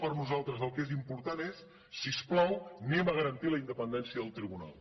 per nosaltres el que és important és si us plau garantim la independència del tribunal